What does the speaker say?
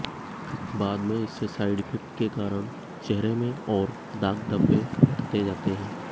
बाद में इससे साइड इफेक्ट के कारण चेहरे में और दाग धब्बे बढ़ते जाते हैं